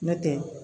N'o tɛ